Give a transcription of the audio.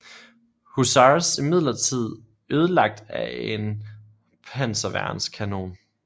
Hussars imidlertid ødelagt af en panserværnskanon